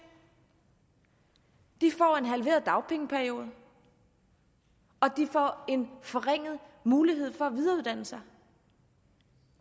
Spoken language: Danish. de får en halveret dagpengeperiode og de får en forringet mulighed for at videreuddanne sig